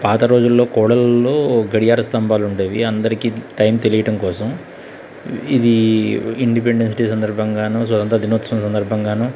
పాత రోజాల్లో కోడలలో గడియార స్తంబాలు ఉండేవి అందరికి టైం తెలియడం కోసం ఇది ఇండిపెండెన్స్ డే సందర్భంగానూ స్వతంత్ర దినోత్సవ సందర్భంగానూ --